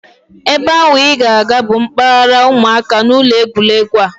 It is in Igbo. Ebe ahụ I na-aga bụ mpaghara ụmụaka n'ụlọ egwuregwu a